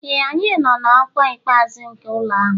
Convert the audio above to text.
Ee, anyị nọ na ọkwa ikpeazụ nke ụlọ ahụ